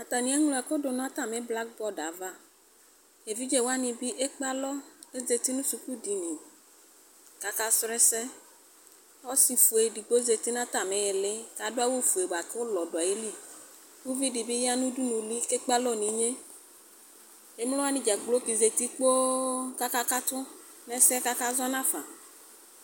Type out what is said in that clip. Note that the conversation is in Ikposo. Atani eŋlo ɛkʋdʋ nʋ atami blakbord ava kʋ edigbo ekpe alɔ kʋ ɔzati nʋ sʋkʋ dini kʋ aka srɔ ɛsɛ kʋ ɔsifue edigbo zati nʋ atami ili kʋ adʋ awʋfue buakʋ ʋlɔ dʋ ayiliʋvidi bi yanʋ ʋdʋnʋli kʋ ekpe alɔ nʋ inye emlowani dzakplo zati kpoo kʋ aka katʋ nʋ ɛse kʋ akak zɔnafa